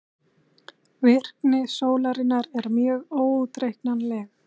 Virkni sólarinnar er mjög óútreiknanleg.